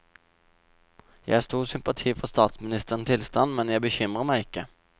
Jeg har stor sympati for statsministerens tilstand, men jeg bekymrer meg ikke.